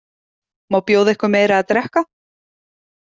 Má bjóða ykkur meira að drekka?